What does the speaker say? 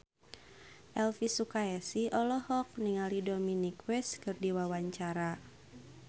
Elvi Sukaesih olohok ningali Dominic West keur diwawancara